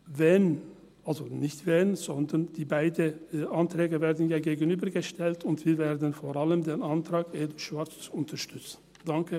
Wenn, also nicht wenn, sondern die beiden Anträge werden ja einander gegenübergestellt, und wir werden vor allem den Antrag EDU/Schwarz unterstützen.